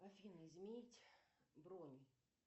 афина изменить бронь